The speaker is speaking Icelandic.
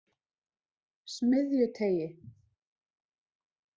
Smiðjuteigi